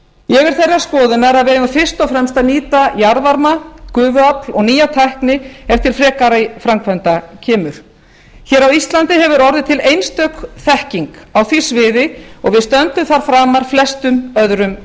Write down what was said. ég er þeirrar skoðunar að við eigum fyrst og fremst að nýta jarðvarma gufuafl og nýja tækni ef til frekari framkvæmda kemur hér á íslandi hefur orðið til einstök þekking á því sviði og við stöndum þar framar flestum öðrum